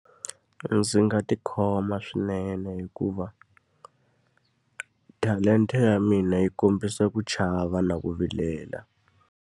Ndzi nga tikhoma swinene hikuva talenta ya mina yi kombisa ku chava na ku vilela.